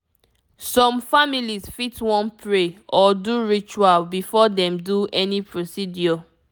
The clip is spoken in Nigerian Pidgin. some families fit wan pray or do ritual before dem do any procedure